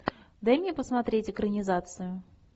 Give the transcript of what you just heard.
дай мне посмотреть экранизацию